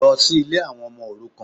Lọ sí Ilé àwọn ọmọ òrukàn